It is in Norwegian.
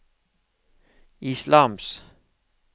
islams